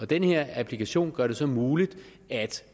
den her applikation gør det så muligt